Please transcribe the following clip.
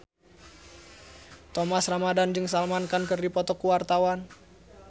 Thomas Ramdhan jeung Salman Khan keur dipoto ku wartawan